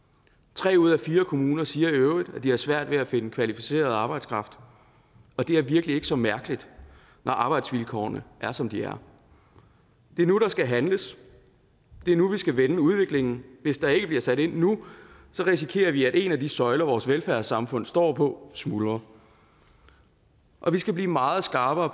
tre ud af fire kommuner siger i øvrigt at de har svært ved at finde kvalificeret arbejdskraft og det er virkelig ikke så mærkeligt når arbejdsvilkårene er som de er det er nu der skal handles det er nu vi skal vende udviklingen hvis der ikke bliver sat ind nu risikerer vi at en af de søjler som vores velfærdssamfund står på smuldrer og vi skal blive meget skarpere